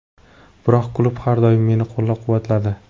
Biroq klub har doim meni qo‘llab-quvvatladi.